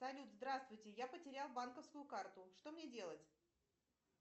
салют здравствуйте я потерял банковскую карту что мне делать